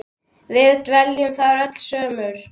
Við dveljum þarna öll sumur.